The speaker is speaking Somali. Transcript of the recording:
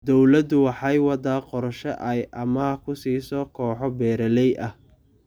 Dawladdu waxay waddaa qorshe ay amaah ku siiso kooxo beeralay ah.